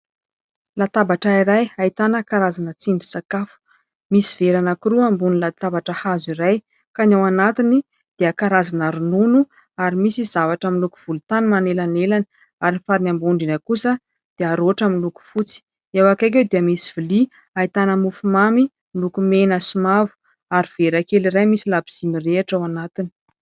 Latabatra iray ahitana karazana tsindrin-sakafo, misy vera anankiroa ambony latabatra hazo iray ka ny ao anatiny dia karazana ronono ary misy zavatra miloko volontany manelanelan ary ny farany ambony indrindra kosa dia roatra miloko fotsy, eo akaiky eo dia misy vilia ahitana mofo mamy miloko mena sy mavo ary vera kely iray misy labozia mirehitra ao anatiny.